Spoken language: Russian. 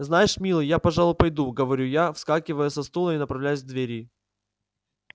знаешь милый я пожалуй пойду говорю я вскакиваю со стула и направляюсь к двери